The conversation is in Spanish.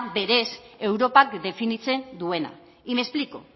berez europak definitzen duena y me explico